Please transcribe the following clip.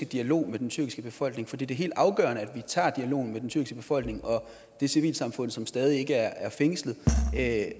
dialog med den tyrkiske befolkning for det er helt afgørende at vi tager dialogen med den tyrkiske befolkning og det civilsamfund som stadig ikke er fængslet og at